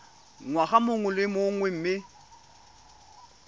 ngwaga mongwe le mongwe mme